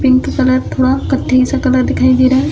Pink colour थोड़ा कथई-सा colour दिखाई दे रहा है।